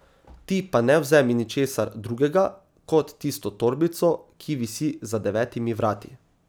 Ti pa ne vzemi ničesar drugega, kot tisto torbico, ki visi za devetimi vrati.